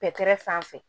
Pɛtɛrɛ sanfɛ